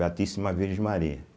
tíssima Virgem Maria.